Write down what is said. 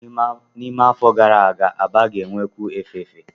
N'ime afọ atọ gara aga, Aba ga-enwekwu efefe.